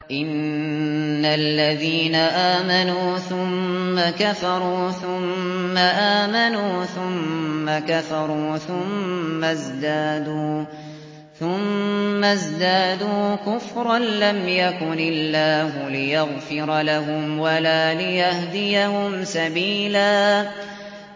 إِنَّ الَّذِينَ آمَنُوا ثُمَّ كَفَرُوا ثُمَّ آمَنُوا ثُمَّ كَفَرُوا ثُمَّ ازْدَادُوا كُفْرًا لَّمْ يَكُنِ اللَّهُ لِيَغْفِرَ لَهُمْ وَلَا لِيَهْدِيَهُمْ سَبِيلًا